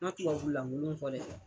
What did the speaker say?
Ma tubabu lankolon fɔ dɛ.